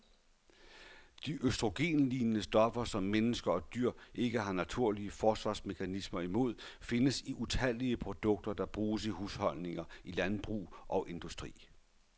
De østrogenlignende stoffer, som mennesker og dyr ikke har naturlige forsvarsmekanismer imod, findes i utallige produkter, der bruges i husholdninger, i landbrug og industri.